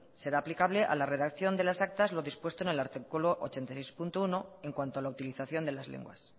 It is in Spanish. será aplicable a la redacción de las actas lo dispuesto en el artículo ochenta y seis punto uno en cuanto a la utilización de las lenguas